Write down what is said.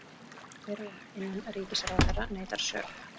Fyrrum innanríkisráðherra neitar sök